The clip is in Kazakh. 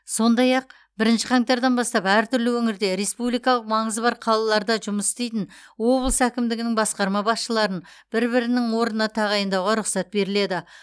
сондай ақ бірінші қаңтардан бастап әртүрлі өңірде республикалық маңызы бар қалаларда жұмыс істейтін облыс әкімдігінің басқарма басшыларын бір бірінің орнына тағайындауға рұқсат беріледі